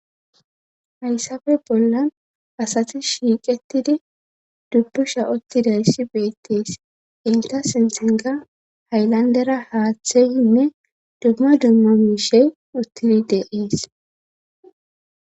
hayssafe bollan asati shiiqetidi dubbusha uttidayssi beettees inta sinthinkka hayllandera haaththeyinne dumma dumma miishe uttidi de7ees.